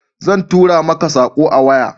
Zan tura mako sako a waya